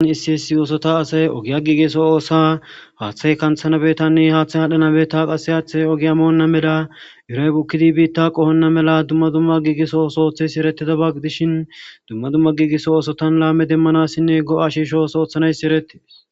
issi hissi yoosota asay ogiya giigeso oosa haaththay kanthanabetanne haaththay hadhanabeta qasse haaththa ogiamoonna mela uraypukkidi biitta qohonna mela dumma dumma giigiso sooththes eretida bagg dishin dumma dumma giigiso oosotan laame demmanassinne go7a shiisho soothanayss erettes